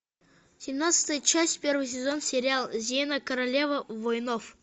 семнадцатая часть первый сезон сериал зена королева воинов